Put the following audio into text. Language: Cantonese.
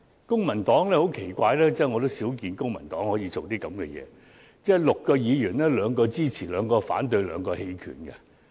公民黨對該法案的立場很奇怪：在6名公民黨議員中，兩名表決支持，兩名表決反對，兩名棄權。